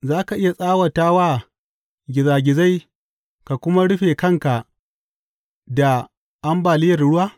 Za ka iya tsawata wa gizagizai ka kuma rufe kanka da ambaliyar ruwa?